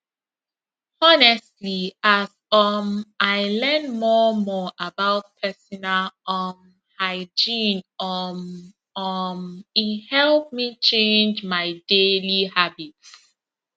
honestly as um i learn more more about personal um hygiene um um e help me change my daily habits